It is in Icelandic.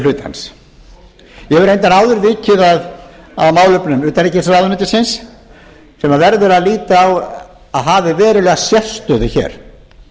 hlutans ég hef reyndar áður vikið að málefnum utanríkisráðuneytisins sem verður að líta á að hafi verulega sérstöðu hér